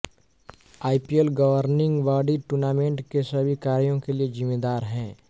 IPL governing body tournament के सभी कार्यों के लिए जिम्मेदार है